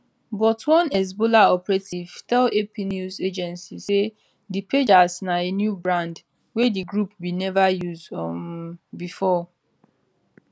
but one hezbollah operative tell ap news agency say di pagers na a new brand wey di group bin never use um before